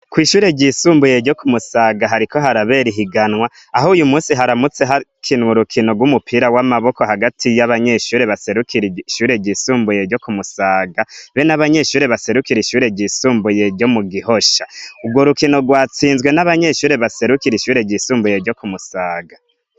Kw'ishure ryisumbuye ryo ku musaga hariko harabera ihiganwa aho uyu musi haramutse hakinwa urukino rw'umupira w'amaboko hagati y'abanyeshure baserukira ishure ryisumbuye ryo ku musaga be n'abanyeshure baserukira ishure ryisumbuye ryo mu gihosha urwo rukino rwatsinzwe n'abanyeshure baserukira ishure ryisumbuye ryo ku musaga.